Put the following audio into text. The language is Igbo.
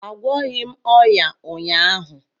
Agwọghị m ọnya ụnyaahụ